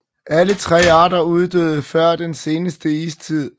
Alle tre arter uddøde før den seneste istid